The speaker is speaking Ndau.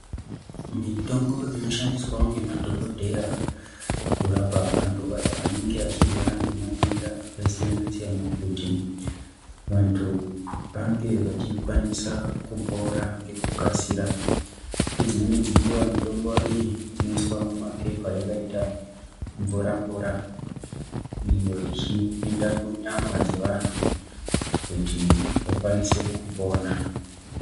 Mitombo inoshandiswawo ngemadhokodheya kurapa anhu aya anenge achirwarangematenda akasiyana siyana kuti vanhu vange vachikwanisa kupora ngekukasira, ngedzimweni dzenguva mitombo iyi inoiswa mumapepa yakaita mvura mvura, iyo ichipinda munyama dzevanhu kuti vakwaniswe kupona.